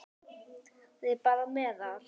Það er bara meðal.